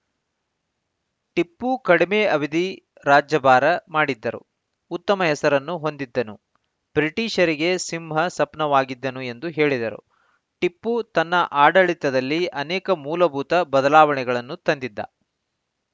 ಟಿಪ್ಪು ಕಡಿಮೆ ಅವಧಿ ರಾಜ್ಯಭಾರ ಮಾಡಿದ್ದರು ಉತ್ತಮ ಹೆಸರನ್ನು ಹೊಂದಿದ್ದನು ಬ್ರಿಟಿಷರಿಗೆ ಸಿಂಹ ಸಪ್ನವಾಗಿದ್ದನು ಎಂದು ಹೇಳಿದರು ಟಿಪ್ಪು ತನ್ನ ಆಡಳಿತದಲ್ಲಿ ಅನೇಕ ಮೂಲಭೂತ ಬದಲಾವಣೆಗಳನ್ನು ತಂದಿದ್ದ